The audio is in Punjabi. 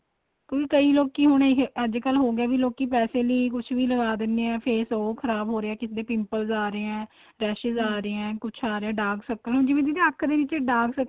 ਕਿਉਂਕਿ ਕਈ ਲੋਕੀ ਹੁਣ ਅੱਜ ਕੱਲ ਹੋਗੇ ਵੀ ਲੋਕੀ ਪੈਸੇ ਲਈ ਕੁੱਝ ਵੀ ਲਗਾ ਦਿੰਨੇ ਏ face ਉਹ ਖ਼ਰਾਬ ਹੋ ਰਿਹਾ ਕਿਸੇ ਦੇ pimple ਆ ਰਹੇ ਏ raises ਆ ਰਹੇ ਏ ਕੁੱਝ ਆ ਰਿਹਾ dark circle ਹੁਣ ਜਿਵੇਂ ਦੀਦੀ ਅੱਖ ਦੇ ਨੀਚੇ dark circle